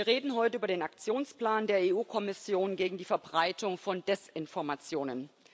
Wir reden heute über den Aktionsplan der EU Kommission gegen die Verbreitung von Desinformationen.